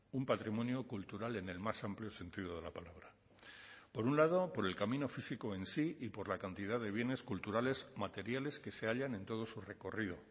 un patrimonio cultural en el más amplio sentido de la palabra por un lado por el camino físico en sí y por la cantidad de bienes culturales materiales que se hallan en todo su recorrido